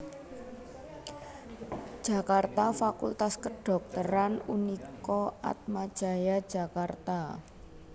Jakarta Fakultas Kadhokteran Unika Atma Jaya Jakarta